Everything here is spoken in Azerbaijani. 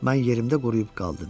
Mən yerimdə quruyub qaldım.